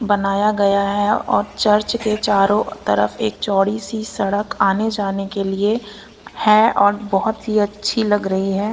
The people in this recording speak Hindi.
बनाया गया है और चर्च के चारों तरफ एक चौड़ी सी सड़क आने जाने के लिए है और बहुत ही अच्छी लग रही है।